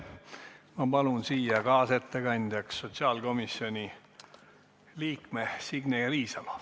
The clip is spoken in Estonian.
Ma palun kaasettekandjaks sotsiaalkomisjoni liikme Signe Riisalo.